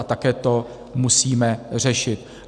A také to musíme řešit.